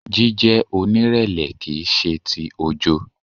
Jíjẹ́ onírẹ̀lẹ̀ kìí ṣe ti ojo.